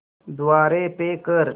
द्वारे पे कर